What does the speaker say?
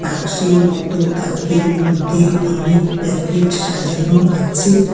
আকশির মতো তাকের মধ্যে অনেক প্যাকেট সাজানো আছে।